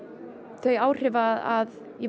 þau áhrif að ég